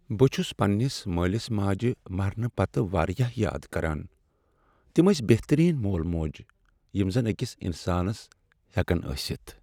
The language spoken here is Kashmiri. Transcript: بہٕ چھس پننس مٲلس ماجہ مرنہٕ پتہٕ واریاہ یاد کران۔ تم ٲسۍ بہترین مول موج یم زن أکِس انسانس ہیکن ٲسِتھ۔